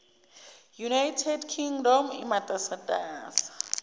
united kingdom imatasatasa